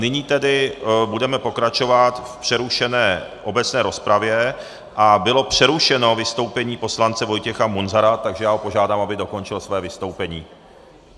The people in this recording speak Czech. Nyní tedy budeme pokračovat v přerušené obecné rozpravě a bylo přerušeno vystoupení poslance Vojtěcha Munzara, takže já ho požádám, aby dokončil své vystoupení.